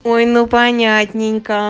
ой ну понятненько